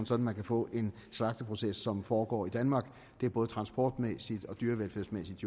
så man kan få en slagteproces som foregår i danmark det er både transportmæssigt dyrevelfærdsmæssigt